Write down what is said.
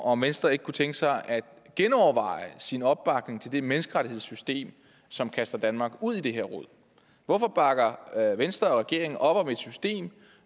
om venstre ikke kunne tænke sig at genoverveje sin opbakning til det menneskerettighedssystem som kaster danmark ud i det her rod hvorfor bakker venstre og regeringen op om et system